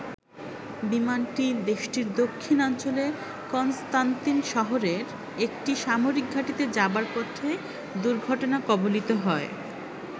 বিমানটি দেশটির দক্ষিণাঞ্চলে কন্সতান্তিন শহরে একটি সামরিক ঘাটিতে যাবার পথে দুর্ঘটনা কবলিত হয়।